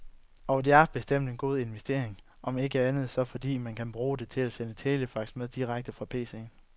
Og det er bestemt en god investering, om ikke andet så fordi man også kan bruge det til at sende telefax med direkte fra PCen.